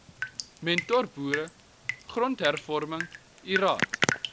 mentorboere grondhervorming lrad